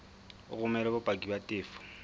o romele bopaki ba tefo